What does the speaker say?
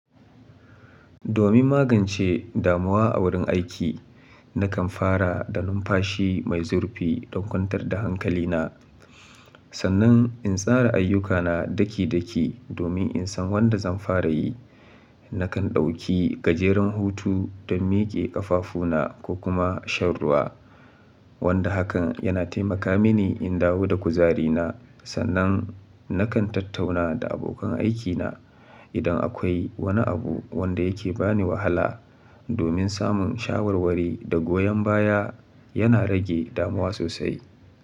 Domin magance damuwa a wurin aiki, nakan fara da numfashi mai zurfi don kwantar da hankali na. Sannan in tsara ayyukana daki-daki domin in san wanda zan fara yi. Nakan ɗauki gajeren hutu don miƙe ƙafafuna ko kuma shan ruwa, wanda hakan yana taimaka mini in dawo da kuzari na. Sannan nakan tattauna da abokan aikina idan akwai wani abu wanda yake ba ni wahala, domin samun shawarwari da goyon baya yana rage damuwa sosai.